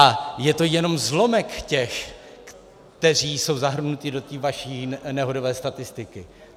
A je to jenom zlomek těch, kteří jsou zahrnuti do té vaší nehodové statistiky.